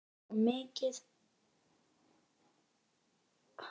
Þar kom at garði